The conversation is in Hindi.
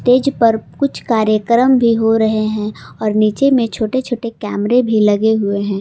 पर कुछ कार्यक्रम भी हो रहे है और नीचे में छोटे छोटे कैमरे भी लगे हुए है।